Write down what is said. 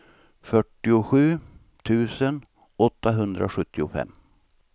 fyrtiosju tusen åttahundrasjuttiofem